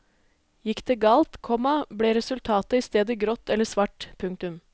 Gikk det galt, komma ble resultatet i stedet grått eller svart. punktum